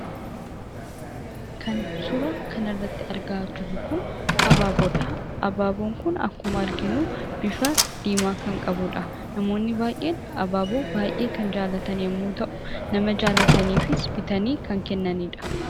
Kan suuraa kana irratti argaa jirruu kun Abaaboo dha. Abaaboon kunis bifa diimaa kan qabuudha. Namoonni baayyeen Abaaboo kan jaallatan yommuu ta'u; nama jaallataniifis bitanii kan kennanii dha.